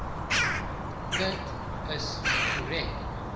dit is korrek